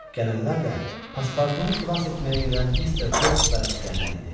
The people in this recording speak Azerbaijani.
Gələnlər də pasportunu xilas etməyə gedən Mister Fok və əsgərlər idi.